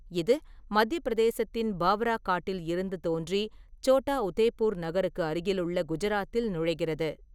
இது மத்தியப் பிரதேசத்தின் பாவ்ரா காட்டில் இருந்து தோன்றி சோட்டா உதேபூர் நகருக்கு அருகிலுள்ள குஜராத்தில் நுழைகிறது.